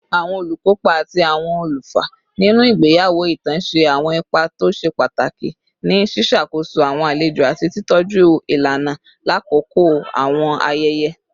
Awọn olukopa ati awọn olufa ninu awọn igbeyawo itan ṣe awọn ipa to ṣe pataki ni ṣiṣakoso awọn alejo ati titọju ilana lakoko awọn ayẹyẹ